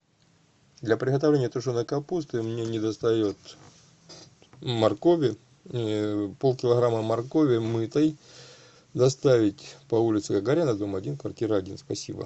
для приготовления тушеной капусты мне не достает моркови пол килограмма моркови мытой доставить по улице гагарина дом один квартира один спасибо